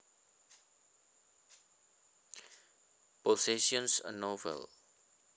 Possessions A Novel